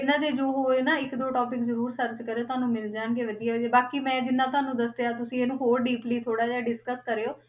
ਇਹਨਾਂ ਦੇ ਜੋ ਹੋਏ ਨਾ ਇੱਕ ਦੋ topic ਜ਼ਰੂਰ search ਕਰਿਓ ਤੁਹਾਨੂੰ ਮਿਲ ਜਾਣਗੇ ਵਧੀਆ ਜਿਹੇ, ਬਾਕੀ ਮੈਂ ਜਿੰਨਾਂ ਤੁਹਾਨੂੰ ਦੱਸਿਆ ਤੁਸੀਂ ਇਹਨੂੰ ਹੋਰ deeply ਥੋੜ੍ਹਾ ਜਿਹਾ discuss ਕਰਿਓ।